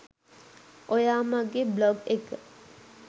ඔයා මගෙ බ්ලොග් එක